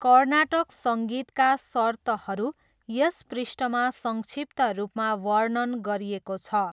कर्नाटक सङ्गीतका सर्तहरू यस पृष्ठमा संक्षिप्त रूपमा वर्णन गरिएको छ।